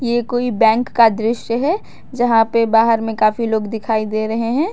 ये कोई बैंक का दृश्य है जहां पे बाहर में काफी लोग दिखाई दे रहे हैं।